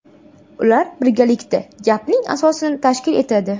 Ular birgalikda gapning asosini tashkil etadi.